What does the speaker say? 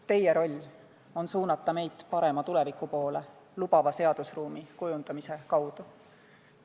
Teie roll on suunata meid parema tuleviku poole lubava seadusruumi kujundamise kaudu.